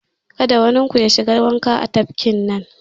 Kada wanin ku ya shiga wanka a tafkin nan!